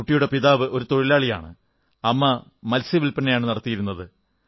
ആ കുട്ടിയുടെ പിതാവ് ഒരു തൊഴിലാളിയാണ് അമ്മ മത്സ്യവിൽപനയാണു നടത്തുന്നത്